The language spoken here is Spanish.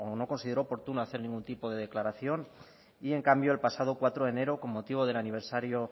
no consideró oportuno hacer ningún tipo de declaración y en cambio el pasado cuatro de enero con motivo del aniversario